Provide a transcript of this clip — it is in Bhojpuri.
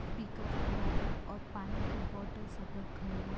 पिकप खड़ा बा और पानी की बोतल सब रखल बा।